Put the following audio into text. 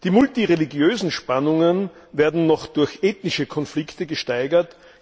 Die multireligiösen Spannungen werden noch durch ethnische Konflikte gesteigert.